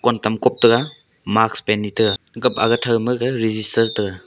wantom kop taiga mask btega ka a ama thouma maga register taiga.